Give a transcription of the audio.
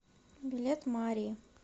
билет мари